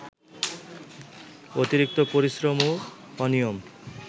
অতিরিক্ত পরিশ্রম ও অনিয়ম